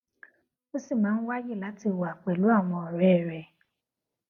ó ṣì máa ń wáyè láti wà pèlú àwọn òré rè